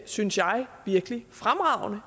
synes jeg virkelig fremragende